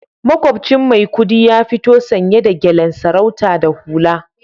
Makwabcin Maikudi ya fito sanye da gyalen sarauta da hula